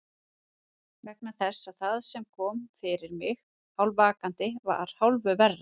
Vegna þess að það sem kom fyrir mig vakandi var hálfu verra.